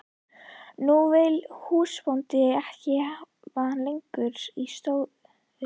Nú vill húsbóndinn ekki hafa hann lengur í stóði.